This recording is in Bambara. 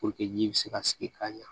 ji bɛ se ka sigi ka ɲa